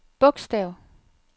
bogstav